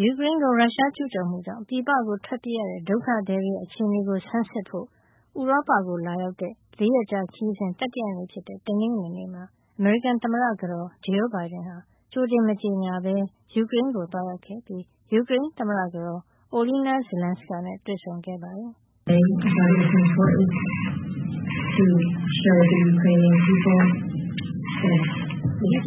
ယူကရိန်းကို ရုရှားကျူးကျော်မှုကြောင့် ပြည်ပကို ထွက်ပြေးရတဲ့ ဒုက္ခသည်တွေရဲ့ အခြေအနေကို ဆန်းစစ်ဖို့ ဥရောပကိုလာရောက်တဲ့ ၄ ရက်ကြာခရီးစဉ် တတိယနေ့ဖြစ်တဲ့ တနင်္ဂနွေနေ့မှာ အမေရိကန်သမ္မတကတော် Jill Biden ဟာ ကြိုတင်မကြေညာဘဲ ယူကရိန်းကို သွားရောက်ခဲ့ပြီး ယူကရိန်းသမ္မတကတော် Olena Zelenska နဲ့ တွေ့ဆုံခဲ့ပါတယ်။ “ဒီ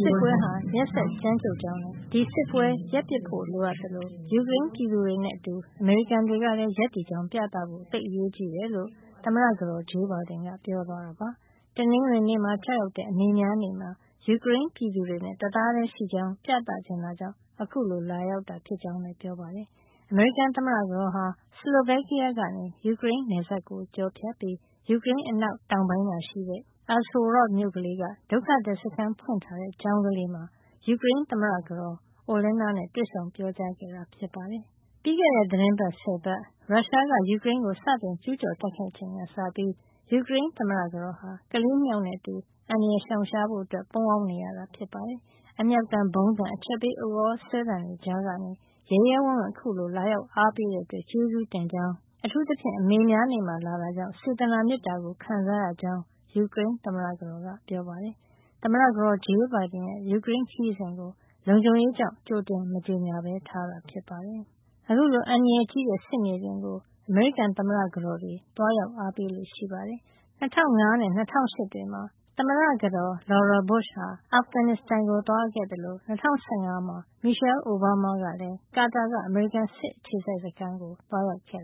စစ်ပွဲဟာ ရက်စက်ကြမ်းကြုတ်ကြောင်းနဲ့ ဒီစစ်ပွဲရပ်ပစ်ဖို့ လိုအပ်သလို ယူကရိန်းပြည်သူတွေနဲ့အတူ အမေရိကန်တွေကလည်း ရပ်တည်ကြောင်း ပြသဖို့ သိပ်အရေးကြီးတယ်။” လို့ သမ္မတကတော် Jill Biden က ပြောသွားတာပါ။ တနင်္ဂနွေနေ့မှာ ကျရောက်တဲ့ အမေများနေ့မှာ ယူကရိန်းပြည်သူတွေနဲ့ တသားတည်းရှိကြောင်း ပြသချင်တာကြောင့် အခုလို လာရောက်တာ ဖြစ်ကြောင်းလည်း ပြောပါတယ်။ အမေရိကန်သမ္မတကတော်ဟာ စလိုဗက်ကီးယားကနေ ယူကရိန်းနယ်စပ်ကို ဖြတ်ပြီး ယူကရိန်း အနောက်တောင်ပိုင်းမှာရှိတဲ့ Uzhhorod မြို့ကလေးက ဒုက္ခသည်စခန်း ဖွင့်ထားတဲ့ ကျောင်းကလေးမှာ ယူကရိန်းသမ္မတကတော် Olena နဲ့ တွေ့ဆုံပြီး ပြောကြားခဲ့တာ ဖြစ်ပါတယ်။ ပြီးခဲ့တဲ့သီတင်းပတ် ၁၀ ပတ် ရုရှားက ယူကရိန်းကို စတင်ကျူးကျော် တိုက်ခိုက်ချိန်ကစပြီး ယူကရိန်းသမ္မတကတော်ဟာ ကလေး ၂ ယောက်နဲ့အတူ အန္တရာယ်ရှောင်ရှားဖို့ ပုန်းအောင်းနေရတာ ဖြစ်ပါတယ်။ အမြောက်သံ၊ ဗုံးသံ၊ အချက်ပေးဥသြဆွဲသံတွေကြားကနေ ရဲရဲဝင့်ဝင့် အခုလို လာရောက်အားပေးတဲ့အတွက် ကျေးဇူးတင်ကြောင်း၊ အထူးသဖြင့် အမေများနေ့မှာ လာတာကြောင့် စေတနာမေတ္တာကို ခံစားရကြောင်း ယူကရိန်းသမ္မတကတော်က ပြောပါတယ်။ သမ္မတကတော် Jill Biden ရဲ့ ယူကရိန်းခရီးစဉ်ကို လုံခြုံရေးကြောင့် ကြိုတင်မကြေညာဘဲ ထားတာဖြစ်ပါတယ်။ အခုလို အန္တရာယ်ကြီးတဲ့ စစ်မြေပြင်ကို အမေရိကန်သမ္မတကတော်တွေ သွားရောက်အားပေးလေ့ ရှိပါတယ်။ ၂၀၀၅ နဲ့ ၂၀၀၈ တွေမှာ သမ္မတကတော် Laura Bush ဟာ အာဖဂန်နစ္စတန်ကို သွားခဲ့သလို ၂၀၁၅ မှာ Michelle Obama က ကာတာက အမေရိကန် စစ်အခြေစိုက်စခန်းကို သွားရောက်ခဲ့